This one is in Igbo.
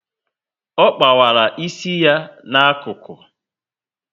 Ọ kpawara isi ya na ákụkụ